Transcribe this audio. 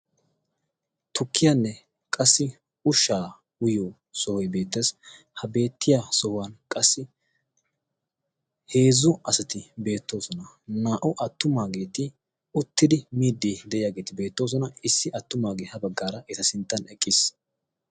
tukkiyaanne qassi ushshaa uyiyo sohoy beettes. ha beettiya sohuwan qassi heezzu asati beettoosona. naa77u attumaageeti uttidi miiddi de7iyaageeti beettoosona. issi attumaagee ha baggaara eta sinttan eqqiis.